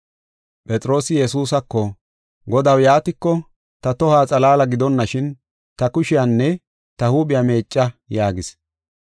Phexroosi Yesuusako, “Godaw, yaatiko, ta tohuwa xalaala gidonashin ta kushiyanne ta huuphiya meecca” yaagis.